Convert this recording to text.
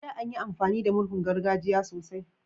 A da, anyi amfani da murhun gargajiya sosai